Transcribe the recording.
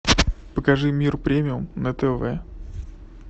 покажи мир премиум на тв